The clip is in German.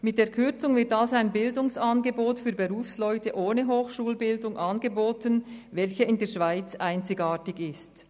Mit der Kürzung wird somit ein Bildungsangebot für Berufsleute ohne Hochschulbildung angeboten, welche in der Schweiz einzigartig ist.